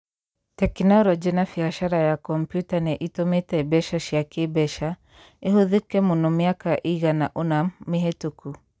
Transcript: Tekinoronjĩ na biacara ya kompiuta nĩ itũmĩte mbeca cia kĩ-mbeca ihũthĩke mũno mĩaka ĩigana ũna mĩhĩtũku.